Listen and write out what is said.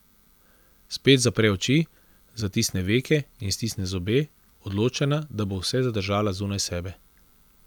Spet zapre oči, zatisne veke in stisne zobe, odločena, da bo vse zadržala zunaj sebe.